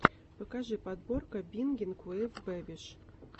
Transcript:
покажи подборка бингинг уив бэбиш